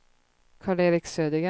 Karl-Erik Södergren